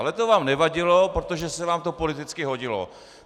Ale to vám nevadilo, protože se vám to politicky hodilo.